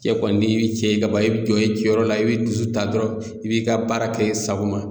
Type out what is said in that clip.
Cɛ kɔni n'i bi cɛ ye kaban i bɛ jɔ i jɔyɔrɔ la i b'i dusu ta dɔrɔn i b'i ka baara kɛ i sago ma